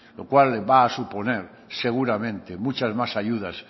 lo cual va a suponer seguramente muchas más ayudas